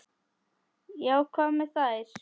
Já, hvað með þær?